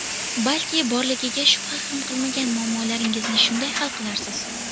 Balki borligiga shubha ham qilmagan muammolaringizni shunday hal qilarsiz.